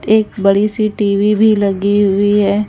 एक बड़ी सी टी_ वी_ भी लगी हुई है।